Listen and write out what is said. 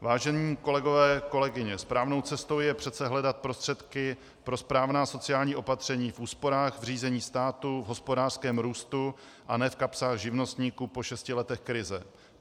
Vážení kolegové, kolegyně, správnou cestou je přece hledat prostředky pro správná sociální opatření v úsporách v řízení státu, v hospodářském růstu, a ne v kapsách živnostníků po šesti letech krize.